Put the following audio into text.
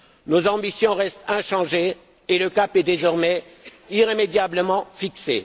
Nos ambitions restent inchangées et le cap est désormais irrémédiablement fixé.